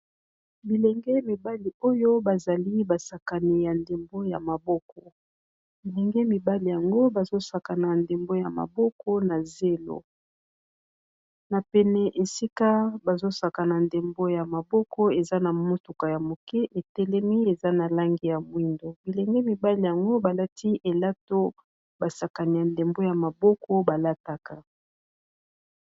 Bilenge mibali oyo ba zali basakani ya ndembo ya maboko, bilenge mibali yango bazo sakana ndembo ya maboko na zelo . Na pene esika bazo sakana ndembo ya maboko eza na motuka ya moke e telemi eza na langi ya moyindo, bilenge mibali yango ba lati elato ba sakanela ndembo ya maboko ba lataka .